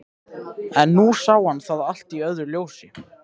En nú sá hann það allt í öðru ljósi.